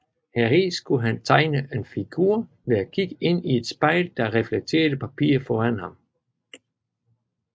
Heri skulle han tegne en figur ved at kigge ind i et spejl der reflekterede papiret foran ham